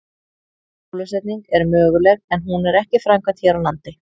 Bólusetning er möguleg en hún er ekki framkvæmd hér á landi.